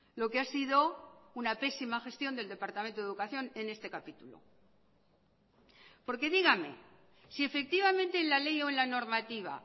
lo que ha sido una pésima gestión del departamento de educación en este capítulo porque dígame si efectivamente en la ley o en la normativa